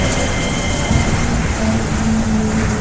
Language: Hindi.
और कुछ आदमी बैग भी लिए हुए--